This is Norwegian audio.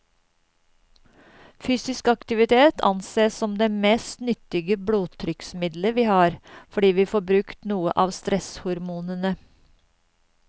Fysisk aktivitet ansees som det mest nyttige blodtrykksmiddelet vi har, fordi vi får brukt noe av stresshormonene.